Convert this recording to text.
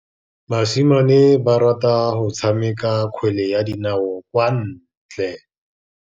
Basimane ba rata go tshameka kgwele ya dinaô kwa ntle.